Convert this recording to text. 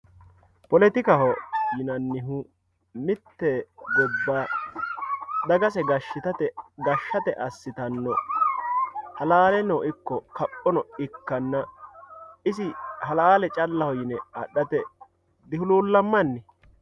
poletikaho yinannihu mitte gobba dagase gashshate assitanno halaaleno ikko kaphonon ikkanna isi halaale callaho yine adhate dihuluulammanni